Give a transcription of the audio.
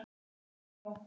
En nú var komið nóg.